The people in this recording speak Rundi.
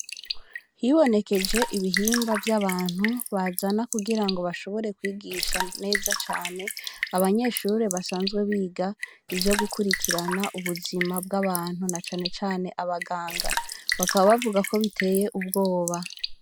Hibonekeje ibihimba vy'abantu bazana ku girango bashobore kwigisha neza cane abanyeshuri basanzwe biga ivyo gukurikirana ubuzima bw'abantu na cane cane abaganga bakaba bavuga ko biteye ubwoba .